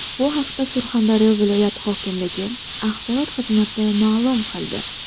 Bu haqda Surxondaryo viloyat hokimligi axborot xizmati ma’lum qildi .